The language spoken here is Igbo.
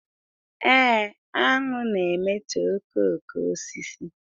Ee, aṅụ na-emetọ okooko osisi